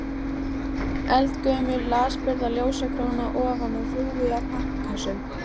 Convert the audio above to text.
Eldgömul, lasburða ljósakróna ofan á hrúgu af pappakössum.